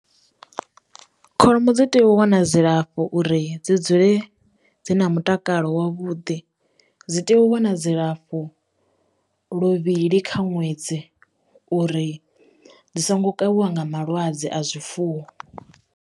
Kholomo dzi tea u wana dzilafho uri dzi dzule dzi na mutakalo wavhuḓi dzi tea u wana dzilafho luvhili kha ṅwedzi uri dzi songo kavhiwa nga malwadze a zwifuwo.